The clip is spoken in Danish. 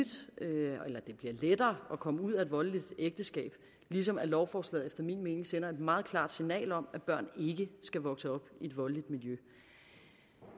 komme ud af et voldeligt ægteskab ligesom lovforslaget efter min mening sender et meget klart signal om at børn ikke skal vokse op i et voldeligt miljø